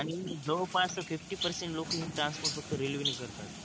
आणि जवळपास fifty percent लोक हे ट्रान्स्पोर्ट फक्त रेल्वे ने करतात